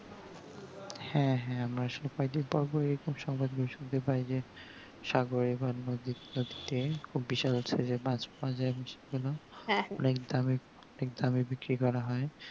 হ্যাঁ হ্যাঁ আমরা পর্ব এরকম সহজে শুনতে পাই যে সাগরে বা নদীর স্রোতে খুব বিশাল size এর মাছ পাওয়া যাই এবং সেগুলো অনেক দামে অনেক দামে বিক্রি করা হয়